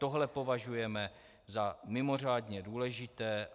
Tohle považujeme za mimořádně důležité.